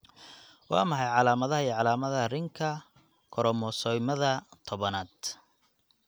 Waa maxay calaamadaha iyo calaamadaha Ringka koromosoomyada tobnaad?